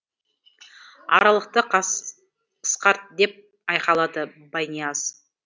аралықты қысқарт деп айқайлады байнияз